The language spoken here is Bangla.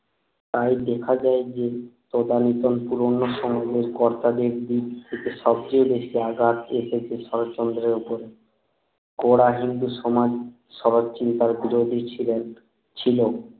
তাই দেখা যায় যে পুরোন সমাজের কর্তাদের দিক থেকে সব চেয়ে বেশি আঘাত এসেছে শরৎচন্দ্র এর উপরে করা হিন্দু সমাজ শরৎ চিন্তার বিরোধী ছিলেন ছিল